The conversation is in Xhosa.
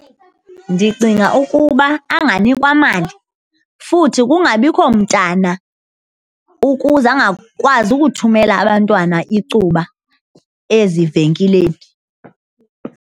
Ndicinga ukuba anganikwa mali futhi kungabikho mntana ukuze angakwazi ukuthumela abantwana icuba ezivenkileni.